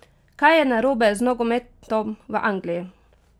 Kaj je narobe z nogometom v Angliji?